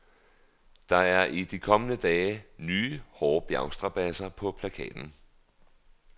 Der er i de kommende dage nye, hårde bjergstrabadser på plakaten.